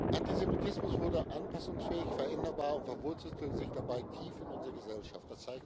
Antisemitismus wurde anpassungsfähig, veränderbar und verwurzelte sich dabei tief in unserer Gesellschaft.